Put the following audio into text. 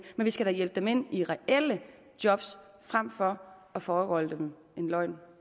vi skal hjælpe dem ind i reelle job frem for at foregøgle dem en løgn